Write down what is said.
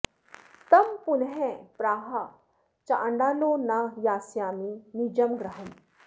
तं पुनः प्राह चाण्डालो न यास्यामि निजं गृहम्